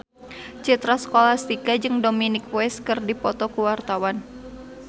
Citra Scholastika jeung Dominic West keur dipoto ku wartawan